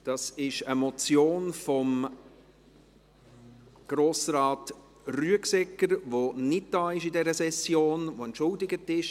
Es handelt sich um eine Motion von Grossrat Rüegsegger, der für diese Session entschuldigt ist.